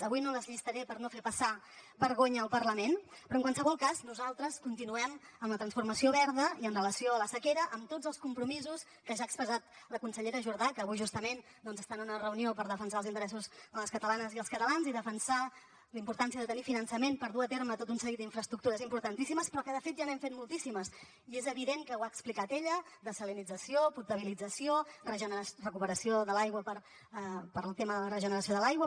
avui no les llistaré per no fer passar vergonya al parlament però en qualsevol cas nosaltres continuem amb la transformació verda i amb relació a la sequera amb tots els compromisos que ja ha expressat la consellera jordà que avui justament doncs està en una reunió per defensar els interessos de les catalanes i els catalans i defensar la importància de tenir finançament per dur a terme tot un seguit d’infraestructures importantíssimes però que de fet ja n’hem fet moltíssimes i és evident que ho ha explicat ella dessalinització potabilització recuperació de l’aigua per al tema de la regeneració de l’aigua